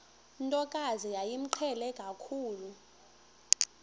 ntokazi yayimqhele kakhulu